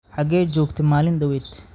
xagee joogtay maalin dhaweyd?